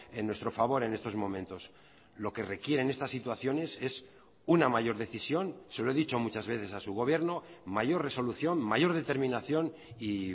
en nuestro favor en estos momentos lo que requieren estas situaciones es una mayor decisión se lo he dicho muchas veces a su gobierno mayor resolución mayor determinación y